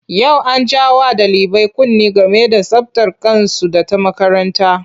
Yau an ja wa ɗalibai kunne game da tsabtar kansu da ta makaranta.